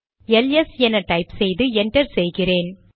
LS என type செய்து enter செய்கிறேன்